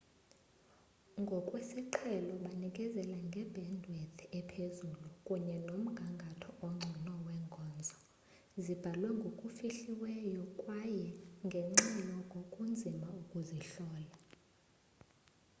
ngokwesiqhelo banikezela nge-bandwidth ephezulu kunye nomgangatho ongcono wenkonzo zibhalwe ngokufihliweyo kwaye ngenxa yoko kunzima ukuzihlola